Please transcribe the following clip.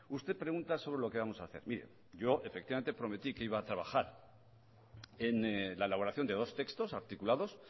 usted pregunta sobre lo que vamos a hacer mire yo efectivamente prometí que iba a trabajar en la elaboración de dos textos articulados